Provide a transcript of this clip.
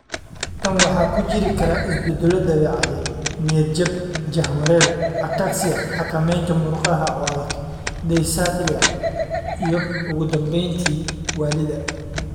Tan waxaa ku jiri kara isbeddello dabeecadeed, niyad-jab, jahawareer, ataxia (xakamaynta murqaha oo adag), dysarthria, iyo ugu dambeyntii, waallida.